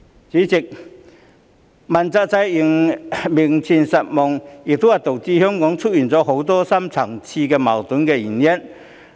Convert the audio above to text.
主席，問責制名存實亡，亦是導致香港出現很多深層次矛盾的原因。